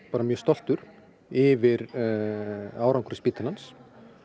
bara mjög stoltur yfir árangri spítalans